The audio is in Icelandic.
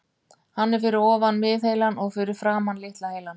Hann er fyrir ofan miðheilann og fyrir framan litla heilann.